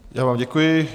Já vám děkuji.